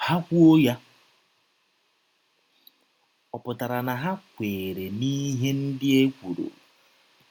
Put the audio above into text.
Ha kwụọ ya, ọ pụtara na ha kweere n’ihe ndị e kwụrụ.